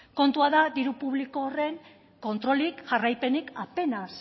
kontua da diru publiko horren kontrolik jarraipenik apenas